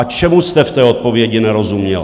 A čemu jste v té odpovědi nerozuměl?